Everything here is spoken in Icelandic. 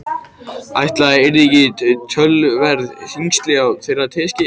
Ætli það yrðu ekki töluverð þyngsli á þeirri teskeið.